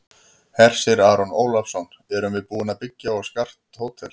Hersir Aron Ólafsson: Erum við búin að byggja og skart hótel?